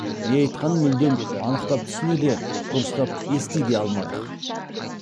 не айтқанын мүлдем анықтап түсіне де дұрыстап ести де алмадық